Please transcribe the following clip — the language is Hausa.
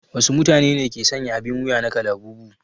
Wasu matune ne ke sanya abin wuya na kalabubu?